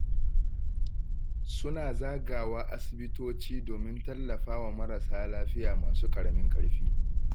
Suna zagawa asibitoci domin tallafa wa marasa lafiya masu ƙaramin ƙarfi